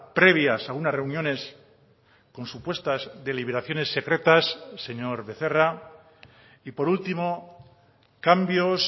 previas a unas reuniones con supuestas deliberaciones secretas señor becerra y por último cambios